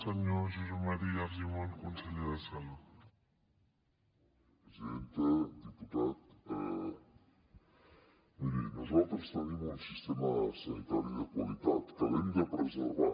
diputat miri nosaltres tenim un sistema sanitari de qualitat que l’hem de preservar